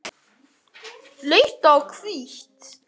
Rautt og hvítt